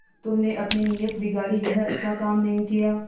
तुमने अपनी नीयत बिगाड़ी यह अच्छा काम नहीं किया